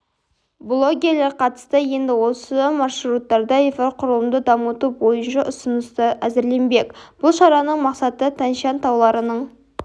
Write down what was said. блогерлер қатысты енді осы маршруттарда инфрақұрылымды дамыту бойынша ұсыныстар әзірленбек бұл шараның мақсаты тянь-шань тауларының